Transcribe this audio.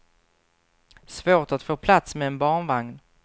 Svårt att få plats med en barnvagn.